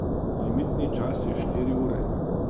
Limitni čas je štiri ure.